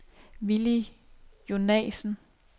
Villy Jonassen